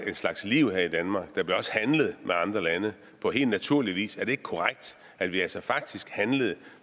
en slags liv her i danmark der blev også handlet med andre lande på helt naturlig vis er det ikke korrekt at vi altså faktisk handlede